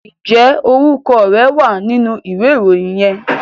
Ǹjẹ́ orúkọ rẹ wà nínú ìwé ìròyìn yẹn?